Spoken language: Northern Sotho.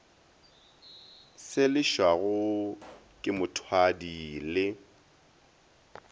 se lefšago ke mothwadi le